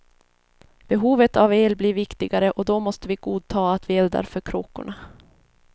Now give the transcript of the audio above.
Behovet av el blir viktigare och då måste vi godta att vi eldar för kråkorna.